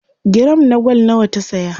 giram na gwal nawa ta saya?